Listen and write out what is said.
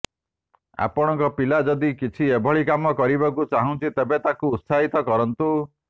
ଆପଣଙ୍କ ପିଲା ଯଦି କିଛି ଏଭଳି କାମ କରିବାକୁ ଚାହୁଁଛି ତେବେ ତାକୁ ଉତ୍ସାହିତ କରନ୍ତୁ